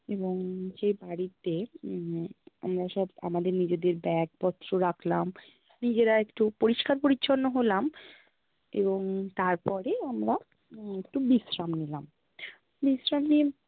এবং যে বাড়িতে উম আমরা সব আমাদের নিজেদের bag প্ত্র রাখ্লাম, নিজেরা একটু পরিষ্কার-পরিচ্ছন্ন হলাম এবং তারপরে আমরা উম একটু বিশ্রাম নিলাম বিশ্রাম নিয়ে